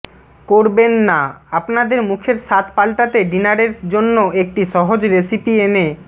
করবেন না আপনাদের মুখের স্বাদ পাল্টাতে ডিনারের জন্য একটি সহজ রেসিপি এনে